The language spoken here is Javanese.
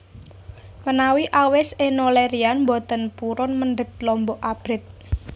Menawi awis Enno Lerian mboten purun mendhet lombok abrit